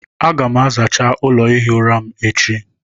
Aga m azacha ụlọ ihi ụra m echi.